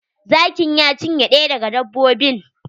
Zakin ya cinye ɗaya daga dbbobin.